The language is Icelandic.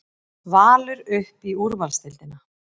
Valur upp í úrvalsdeildina